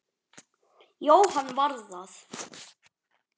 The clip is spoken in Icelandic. Jóhann var það.